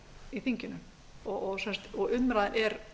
í þinginu og umræðan er